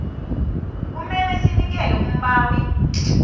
kumele sinikele umbawi